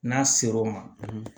N'a ser'o ma